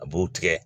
A b'u tigɛ